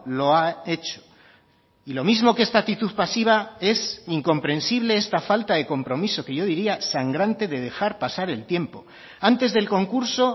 lo ha hecho y lo mismo que esta actitud pasiva es incomprensible esta falta de compromiso que yo diría sangrante de dejar pasar el tiempo antes del concurso